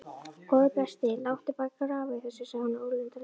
Góði besti, láttu bara grafa í þessu sagði hún ólundarlega.